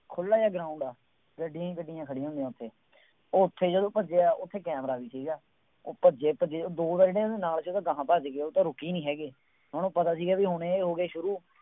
ਖੁੱਲ੍ਹਾ ਜਿਹਾ ground ਹੈ। ਗੱਡੀਆਂ ਗੱਡੀਆਂ ਹੀ ਖੜ੍ਹੀਆਂ ਹੁੰਦੀਆਂ ਉੱਥੇ, ਉੱਥੇ ਜਦੋਂ ਭੱਜਿਆ ਉੱਥੇ ਕੈਮਰਾ ਨਹੀਂ ਸੀਗਾ, ਉਹ ਭੱਜੇ ਭੱਜੇ ਦੋ ਵਾਰੀ ਨਾ ਇਹਦੇ ਨਾਲ ਦੇ ਤਾਂ ਅਗਾਂਹ ਭੱਜ ਗਏ, ਉਹ ਤਾਂ ਰੁਕੇ ਹੀ ਨਹੀਂ ਹੈਗੇ, ਹੁਣ ਉਹ ਪਤਾ ਸੀਗਾ ਬਈ ਹੁਣ ਇਹ ਹੋ ਗਏ ਸ਼ੁਰੂ